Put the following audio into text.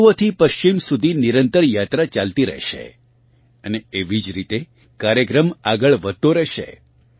પૂર્વથી પશ્ચિમ સુધી નિરંતર યાત્રા ચાલતી રહેશે અને એવી જ રીતે કાર્યક્રમ આગળ વધતો રહેશે